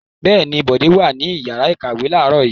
Bẹ́ẹ̀ ni, Bọ̀dé wà ní ìyàrá-ìkàwé láàárọ̀ yìí.